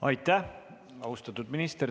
Aitäh!